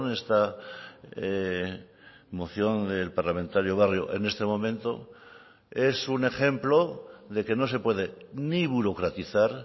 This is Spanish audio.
esta moción del parlamentario barrio en este momento es un ejemplo de que no se puede ni burocratizar